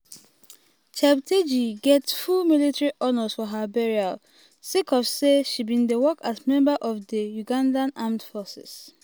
cheptegei get full military honours for her burial sake of say she bin dey work as member of di ugandan armed forces.